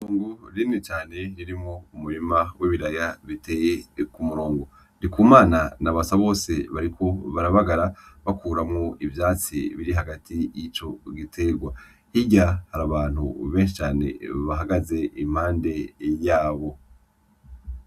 Itongo rinini cane ririmwo umurima w'ibiraya biteye kumurongo Ndikumana na Basabose bariko barabagara bakuramwo ivyatsi biri hagati yico gitegwa hirya harabantu benshi cane bahagaze impande yabo.